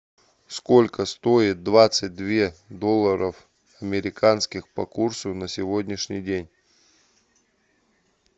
сколько стоит двадцать две долларов американских по курсу на сегодняшний день